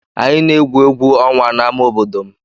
Anyị na-egwu egwu ọnwa n'ámá obodo m.